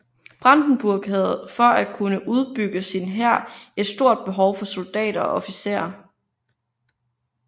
Brandenburg havde for at kunne udbygge sin hær et stort behov for soldatter og officerer